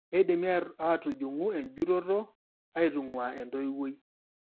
Keidimi aatujung'u enjutoto aitung'uaa entoiwuoi.